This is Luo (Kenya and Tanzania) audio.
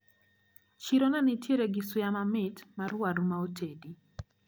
Chiro nenitiere gi suya mamit mar waru maotedi.